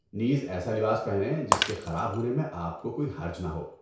نیز، ایسا لباس پہنیں جس کے خراب ہونے میں آپ کو کوئی حرج نہ ہو!